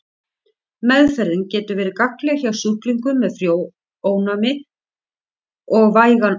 Meðferðin getur verið gagnleg hjá sjúklingum með frjónæmi og vægan astma.